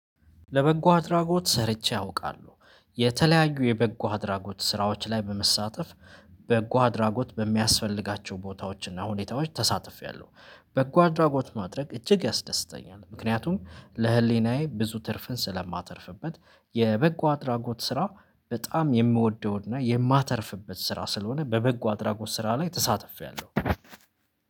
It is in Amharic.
ለበጎ አድራጎት ሰርቼ አውቃለሁ። የተለያዩ የበጎ አድራጎት ስራዎች ላይ በመሳተፍ በጎ አድራጎት በሚያስፈልጋቸው ቦታዎች እና ሁኔታዎች ተሳትፌያለሁ። በጎ አድራጎት ማድረግ እጅግ ያስደስተኛል ምክንያቱም ለህሊናዬ ብዙ ትርፍን ስለማተርፍበት የበጎ አድራጎት ስራ በጣም የምወደው እና የማተርፍበት ስራ ስለሆነ በበጎ አድራጎት ስራ ላይ ተሳትፌለሁ።